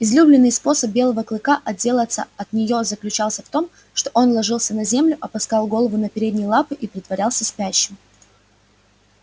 излюбленный способ белого клыка отделаться от неё заключался в том что он ложился на землю опускал голову на передние лапы и притворялся спящим